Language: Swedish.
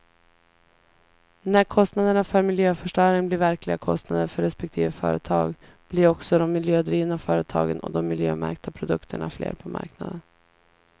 När kostnaderna för miljöförstöring blir verkliga kostnader för respektive företag, blir också de miljödrivna företagen och de miljömärkta produkterna fler på marknaden.